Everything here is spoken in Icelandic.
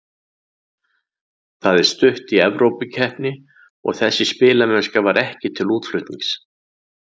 Það er stutt í Evrópukeppni og þessi spilamennska var ekki til útflutnings.